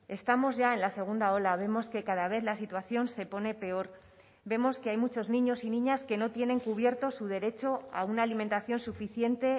estamos ya en la segunda ola vemos que cada vez la situación se pone peor vemos que hay muchos niños y niñas que no tienen cubierto su derecho a una alimentación suficiente